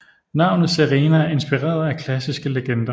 Navnet Serena er inspireret af klassiske legender